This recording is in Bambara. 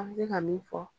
An bɛ se ka min fɔ